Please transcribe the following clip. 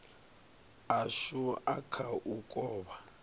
ashu a kha u kovha